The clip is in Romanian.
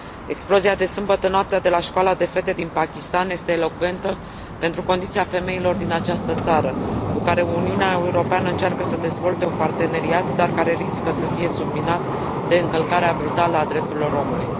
Explozia de sâmbătă noaptea de la Școala de fete din Pakistan este elocventă pentru condiția femeilor din această țară cu care Uniunea Europeană încearcă să dezvolte un parteneriat dar care riscă să fie subminat de încălcarea brutală a drepturilor omului.